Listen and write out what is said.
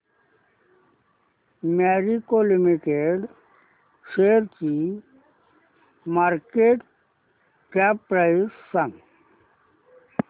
Marico limited शेअरची market cap price सांगा